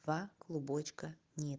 два клубочка нет